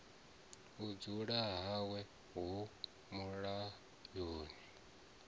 u dzula hawe hu mulayoni